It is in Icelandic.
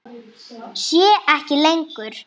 Sé ekki lengur.